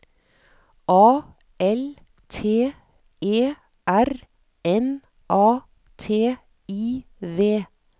A L T E R N A T I V